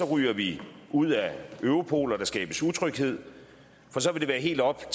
ryger vi ud af europol og der skabes utryghed for så vil det være helt op